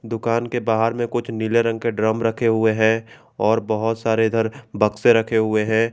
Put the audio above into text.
दुकान के बाहर में कुछ नीले रंग के ड्रम रखे हुए हैं और बहोत सारे इधर बक्से रखे हुए हैं।